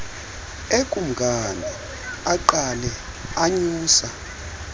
ekumkani aqale anyusa